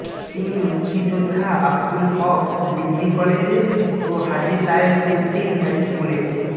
তিনি মুক্তিযোদ্ধা আবদুল হক ডিগ্রি কলেজে ও হাজী তায়েব উদ্দীন হাইস্কুলের